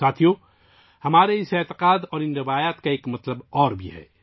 ساتھیو ، اس عقیدے اور ہماری ان روایات کا ایک اور پہلو بھی ہے